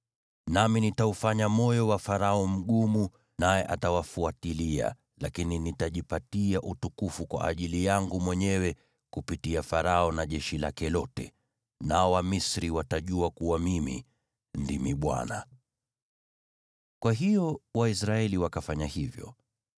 Nami nitaufanya moyo wa Farao mgumu, naye atawafuatilia. Lakini nitajipatia utukufu kwa ajili yangu mwenyewe kupitia Farao na jeshi lake lote, nao Wamisri watajua kuwa mimi ndimi Bwana .” Kwa hiyo Waisraeli wakafanya hivyo.